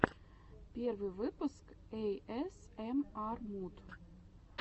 первый выпуск эйэсэмар муд